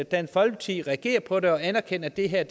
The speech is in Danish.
dansk folkeparti reagerer på det og anerkende at det her er